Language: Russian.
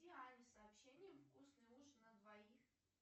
диане сообщением вкусный ужин на двоих